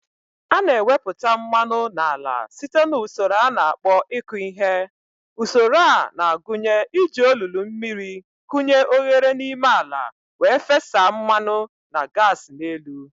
A na-ewepụta mmanụ n'ala site na usoro a na-akpọ ịkụ ihe. Usoro a na-agụnye iji olulu mmiri kụnye oghere n'ime ala wee fesa mmanụ na gas n'elu.